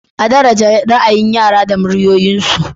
A daraje ra'ayin yara da muryoyinsu.